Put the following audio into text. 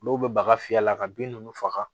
Olu bɛ baga fiyɛ a la ka bin ninnu faga